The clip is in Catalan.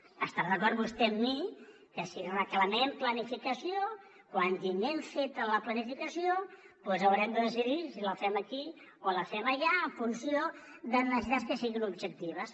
deu estar d’acord vostè amb mi que si reclamem planificació quan tinguem feta la planificació doncs haurem de decidir si la fem aquí o la fem allà en funció de necessitats que siguin objectives